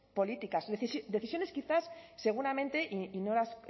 políticas decisiones quizás seguramente y no las